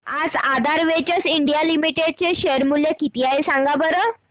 आज Aadhaar ventures India limited चे share चे मूल्य किती आहे सांगा बरं